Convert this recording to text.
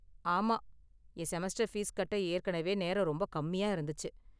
ஆமா, என் semester fees கட்ட ஏற்கனவே நேரம் ரொம்ப கம்மியா இருந்துச்சு.